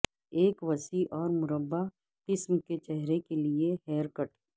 ایک وسیع اور مربع قسم کے چہرے کے لئے ہیئر کٹ